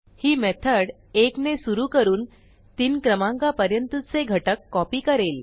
ही method 1 ने सुरू करून 3 क्रमांकापर्यंतचे घटक कॉपी करेल